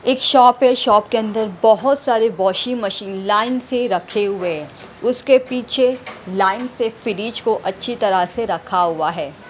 एक शॉप है शॉप के अंदर बहुत सारे वॉशिंग मशीन लाइन से रखे हुए हैं उसके पीछे लाइन से फ्रिज को अच्छी तरह से रखा हुआ है।